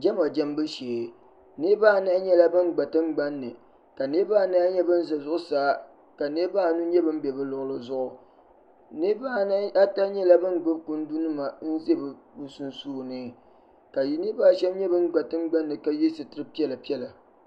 Jama jambu shee niriba anahi nyɛla ban gba tingbani ni ka niriba anahi nyɛ ban za zuɣusaa ka niriba anu nyɛ ban be bɛ luɣili zuɣu niriba ata nyɛla ban gbubi kundinima n-ʒi bɛ sunsuuni ka niriba ashɛm nyɛ ban gba tingbani ni ka ye sitiri piɛla.